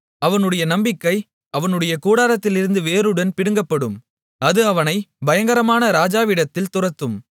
அவனுடைய நம்பிக்கை அவனுடைய கூடாரத்திலிருந்து வேருடன் பிடுங்கப்படும் அது அவனைப் பயங்கரமான ராஜாவினிடத்தில் துரத்தும்